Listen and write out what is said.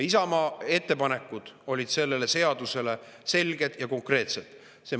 Isamaa ettepanekud selle seaduse kohta olid selged ja konkreetsed.